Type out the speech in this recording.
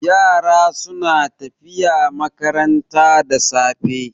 Yara suna tafiya makaranta da safe.